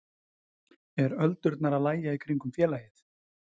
Er öldurnar að lægja í kringum félagið?